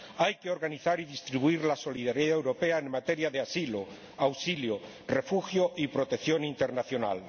Hay que organizar y distribuir la solidaridad europea en materia de asilo, auxilio, refugio y protección internacional.